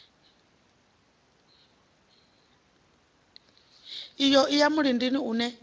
iyo i ya mulindini une